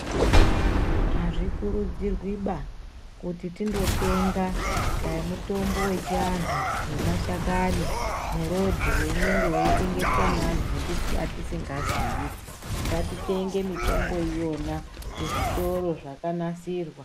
Azvikurudzirwiba, kuti tindotenga dai mutombo wechianhu wemashakani murodhi weinenge weitengeswa neanhu atisi atisingaziyi. Ngatitenge mitombo iyona, kuzvitoro zvakanasirwa.